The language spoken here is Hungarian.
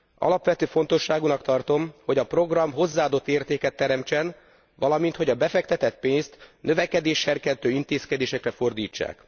Alapvető fontosságúnak tartom, hogy a program hozzáadott értéket teremtsen, valamint hogy a befektetett pénzt növekedésserkentő intézkedésekre fordítsák.